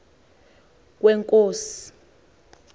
kwenkosi